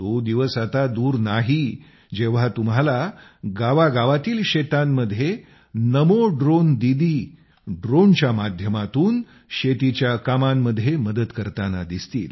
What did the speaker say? तो दिवस आता दूर नाही जेव्हा तुम्हाला गावा गावातील शेतांमध्ये नमो ड्रोन दीदी ड्रोनच्या माध्यमातून शेतीच्या कामांमध्ये मदत करताना दिसतील